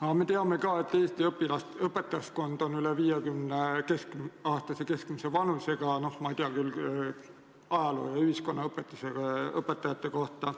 Aga me teame ka, et Eesti õpetajaskonna keskmine vanus on üle 50 eluaasta, ma ei tea küll ajaloo- ja ühiskonnaõpetuse õpetajate kohta.